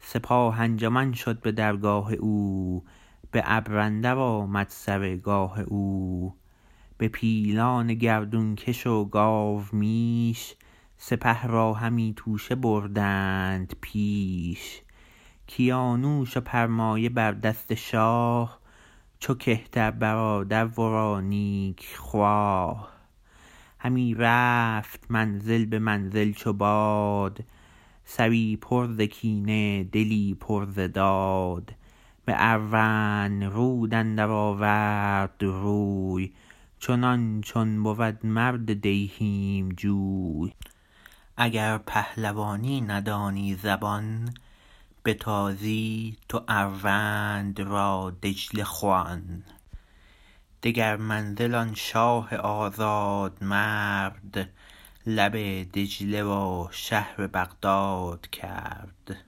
سپاه انجمن شد به درگاه او به ابر اندر آمد سر گاه او به پیلان گردون کش و گاومیش سپه را همی توشه بردند پیش کیانوش و پرمایه بر دست شاه چو کهتر برادر ورا نیک خواه همی رفت منزل به منزل چو باد سری پر ز کینه دلی پر ز داد به اروندرود اندر آورد روی چنان چون بود مرد دیهیم جوی اگر پهلوانی ندانی زبان به تازی تو اروند را دجله خوان دگر منزل آن شاه آزادمرد لب دجله و شهر بغداد کرد